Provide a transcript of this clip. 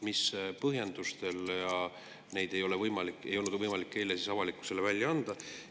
Mis põhjusel ei olnud võimalik neid eile avalikkusele välja anda?